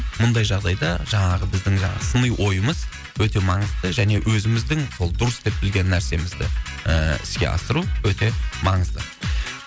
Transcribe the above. мұндай жағдайда жаңағы біздің жаңағы сыни ойымыз өте маңызды және өзіміздің ол дұрыс деп білген нәрсемізді ііі іске асыру өте маңызды